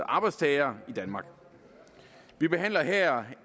arbejdstagere i danmark vi behandler her